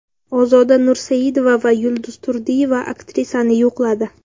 Ozoda Nursaidova va Yulduz Turdiyeva aktrisani yo‘qladi .